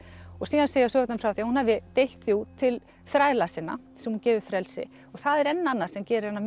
síðan segja sögurnar frá því að hún hafi deilt til þræla sinna sem hún gefur frelsi það er enn annað sem gerir hana